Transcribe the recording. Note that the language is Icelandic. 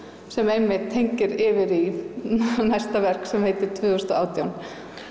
sem tengir yfir í næsta verk sem heitir tvö þúsund og átján